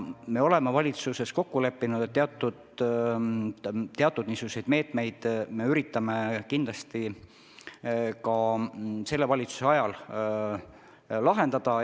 Me oleme kokku leppinud, et me üritame niisuguseid meetmeid kindlasti ka selle valitsuse ajal rakendada.